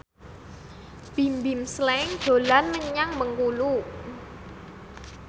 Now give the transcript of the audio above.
Bimbim Slank dolan menyang Bengkulu